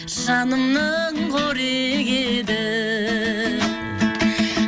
жанымның қорегі еді